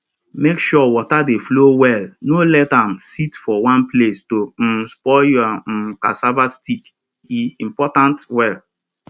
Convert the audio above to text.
make sure water dey flow well no let am sit for one place to um spoil your um cassava stick e important well